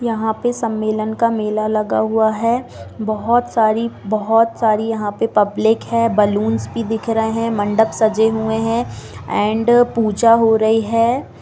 यहां पे सम्मेलन का मेला लगा हुआ है बहुत सारी बहुत सारी यहां पे पब्लिक है बलूंस भी दिख रहे है मंडप सजे हुए है एण्ड पूजा हो रही है।